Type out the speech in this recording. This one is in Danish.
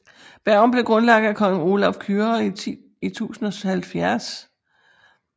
Bergen blev grundlagt af kong Olav Kyrre i 1070